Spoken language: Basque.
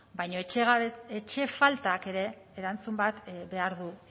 baina etxe faltak ere erantzun bat behar du